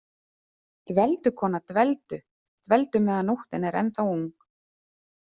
Dveldu, kona, dveldu- dveldu meðan nóttin er ennþá ung.